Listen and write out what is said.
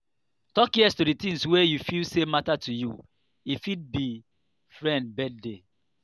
talk yes to di things wey you feel sey matter to you e fit be friend birthday